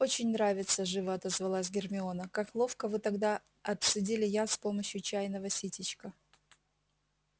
очень нравится живо отозвалась гермиона как ловко вы тогда отцедили яд с помощью чайного ситечка